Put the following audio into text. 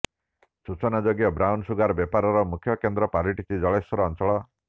ସୂଚନାଯୋଗ୍ୟ brown sugar ବେପାରର ମୁଖ୍ୟ କେନ୍ଦ୍ର ପାଲିଟିଛି ଜଳେଶ୍ୱର ଅଞ୍ଚଳ